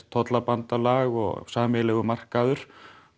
tollabandalag og sameiginlegur markaður